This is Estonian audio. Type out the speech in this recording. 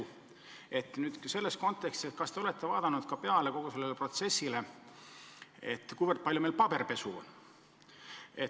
Kui palju te nüüd selles kontekstis olete vaadanud kogu seda protsessi pilguga, kui palju meil paberipesu on?